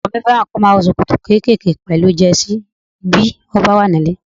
Ọkọ mi fẹ́ràn kí ó máa wọ ṣòkòtò kékèké pẹ̀lú Jẹ́sí bí ó bá wà nílé